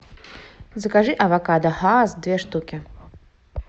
закажи авокадо хаас две штуки